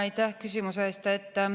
Aitäh küsimuse eest!